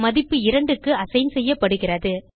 மதிப்பு 2க்கு அசைன் செய்யப்படுகிறது